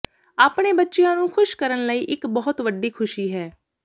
ਆਪਣੇ ਬੱਚਿਆਂ ਨੂੰ ਖੁਸ਼ ਕਰਨ ਲਈ ਇਕ ਬਹੁਤ ਵੱਡੀ ਖੁਸ਼ੀ ਹੈ